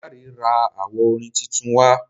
Dare rà awo orin títún wá.